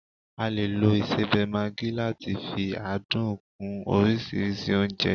A lè lo isebe Maggi láti fi adùn kún oríṣiríṣi oúnjẹ